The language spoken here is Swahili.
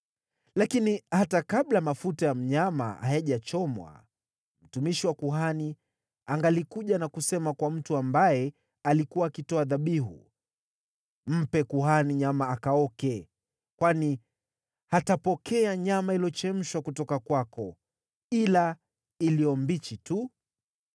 Lakini hata kabla mafuta ya mnyama hayajachomwa, mtumishi wa kuhani angalikuja na kusema kwa mtu ambaye alikuwa akitoa dhabihu, “Mpe kuhani nyama akaoke, kwani hatapokea nyama iliyochemshwa kutoka kwako, ila iliyo mbichi tu.”